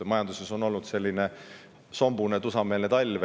Majanduses on olnud selline sombune tusameele talv.